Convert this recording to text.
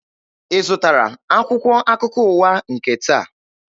Ị zụtara akwụkwọ akụkọ ụwa nke taa?